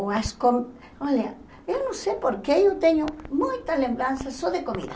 Olha, eu não sei porque eu tenho muita lembrança só de comida.